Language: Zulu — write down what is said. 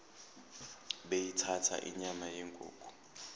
beyithanda inyama yenkukhu